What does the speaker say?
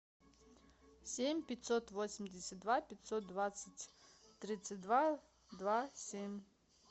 семь пятьсот восемьдесят два пятьсот двадцать тридцать два два семь